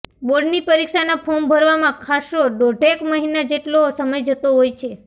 બોર્ડની પરીક્ષાના ફોર્મ ભરવામાં ખાસ્સો દોઢેક મહિના જેટલો સમય જતો હોય છે